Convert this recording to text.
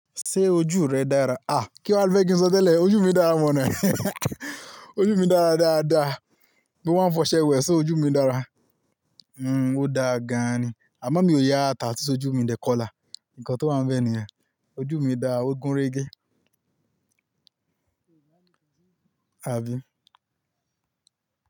Ṣé ojú rẹ dára? À kí wa lo fẹ́ kí n sọ tẹ́lẹ̀, ojú mi dára mọ̀nà. Ojú mi dára dáadáa. Bí wọ́n ń fọṣẹ wẹ̀, ṣé ojú mi dára? Hmm o dáa gan ni, àmọ́ mi ò yá tattoo sojú mi dẹ kọlà. Nǹkan tó wá ń bẹ niyen Ojú mi dára, ó gúnrégé. Àbí?